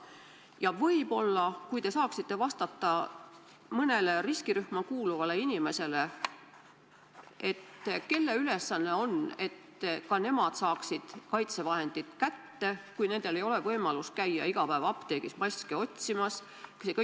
Ja võib-olla saate vastata ka mõnele riskirühma kuuluvale inimesele: kelle ülesanne on tagada, et ka nemad saaksid kaitsevahendid kätte, kui neil ei ole võimalik iga päev apteegis maske otsimas käia?